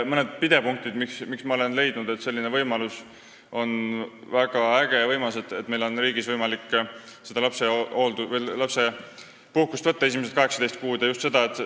Mõned pidepunktid, miks ma olen leidnud, et see, et meil on riigis võimalik võtta tasustatud lapsehoolduspuhkust esimesed 18 kuud, on väga äge ja võimas asi.